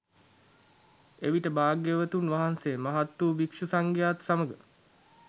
එවිට භාග්‍යවතුන් වහන්සේ මහත් වූ භික්ෂු සංඝයා ත් සමඟ